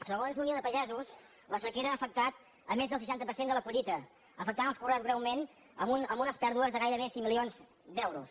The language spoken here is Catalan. segons la unió de pagesos la sequera ha afectat més del seixanta per cent de la collita i ha afectat els conreus greument amb unes pèrdues de gairebé cinc milions d’euros